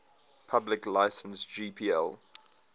public license gpl